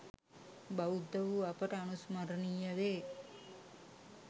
බෞද්ධ වූ අපට අනුස්මරණීය වේ.